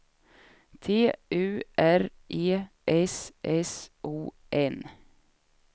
T U R E S S O N